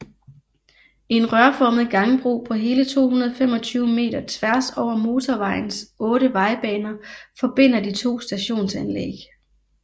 En rørformet gangbro på hele 225 meter tværs over motorvejens 8 vejbaner forbinder de to stationsanlæg